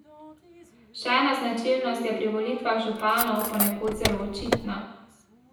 Še ena značilnost je pri volitvah županov ponekod zelo očitna.